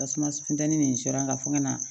Tasuma funtɛni nin sɔrɔ an ka fɔ ka na